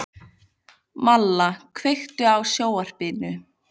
Malla, kveiktu á sjónvarpinu.